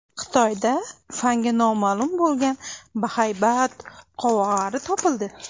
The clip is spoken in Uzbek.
Xitoyda fanga noma’lum bo‘lgan bahaybat qovog‘ari topildi.